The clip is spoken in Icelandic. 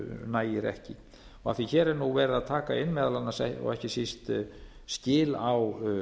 nægir ekki og af því að hér er nú verið að taka inn meðal annars og ekki síst skil á